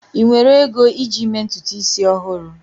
ị nwere ego iji mee ntutu isi ọhụrụ?